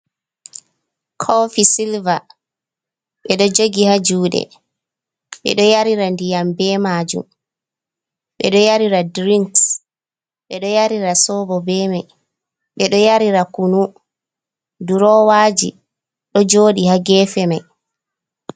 Kofi silber, bedo jogi ha Jude, bedo nyarira diyambe majum, bedo nyarira drins, bedo nyarira sobo be mai bedo nyarira kunu, durowaji do jodi ha gefe mai.